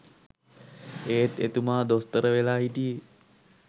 එත් එතුමා දොස්තර වෙලා හිටියේ